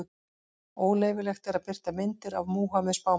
Óleyfilegt er að birta myndir af Múhameð spámanni.